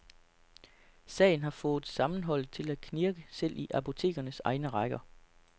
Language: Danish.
Sagen har fået sammenholdet til at knirke selv i apotekernes egne rækker.